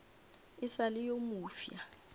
e sa le yo mofsa